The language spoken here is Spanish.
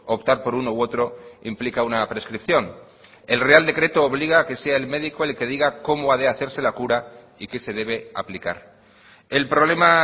optar por uno u otro implica una prescripción el real decreto obliga a que sea el médico el que diga cómo ha de hacerse la cura y que se debe aplicar el problema